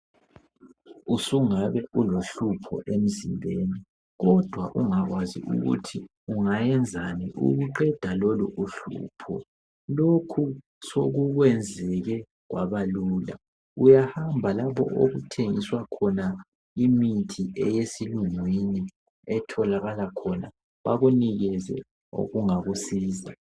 Usungabe ulohlupho emzimbeni kodwa ungakwazi ukuthi ungayenzani ukuqeda lolo uhlupho. Lokhu sokukwenzile kwaba lula . Uyahamba lapho okuthengiswa khona imithi eyesilungwini etholakala khona bakunikeze okungakusiza.